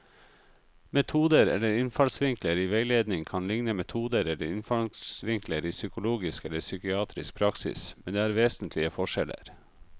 Metoder eller innfallsvinkler i veiledning kan likne metoder eller innfallsvinkler i psykologisk eller psykiatrisk praksis, men det er vesentlige forskjeller.